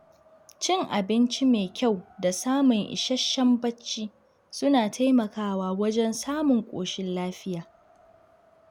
Cin abinci mai kyau da samun isasshen bacci suna taimakawa wajen samun ƙoshin lafiya.